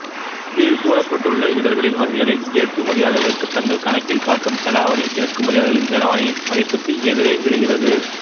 கீழ் கூறப்பட்டுள்ள இடர்களின் வகைகளில் ஏற்றுமதியாளர்களுக்கு தங்கள் கணக்கில் காட்டும் செலாவணி இறக்குமதியாளர்களின் செலாவணியின் மதிப்புக்கு எதிரே விழுகிறது